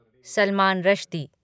Salman Rushdie